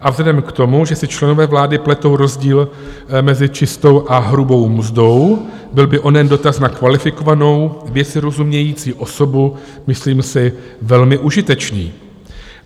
A vzhledem k tomu, že si členové vlády pletou rozdíl mezi čistou a hrubou mzdou, byl by onen dotaz na kvalifikovanou, věci rozumějící osobu, myslím si, velmi užitečný.